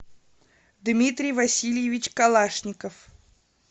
дмитрий васильевич калашников